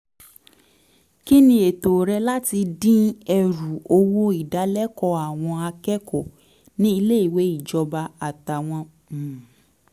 kí ni ètò rẹ láti dín ẹrù owó ìdálẹ́kọ̀ọ́ àwọn akẹ́kọ̀ọ́ ní ilé ìwé ìjọba àtàwọn um